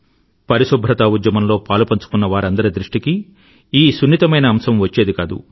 పరిశుభ్రతా ఉద్యమంలో పాలుపంచుకున్నవారందరి దృష్టికీ ఈ సున్నితమైన అంశం వచ్చేది కాదు